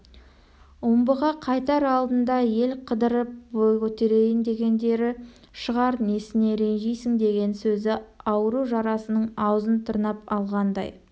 омбыға қайтар алдында ел қыдырып бой көтерейін дегендері шығар несіне ренжисің деген сөзі ауру жарасының аузын тырнап алғандай